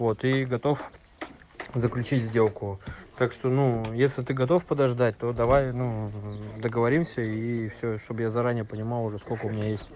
вот и готов заключить сделку так что ну если ты готов подождать то давай ну договоримся и всё чтобы я заранее понимал уже сколько у меня есть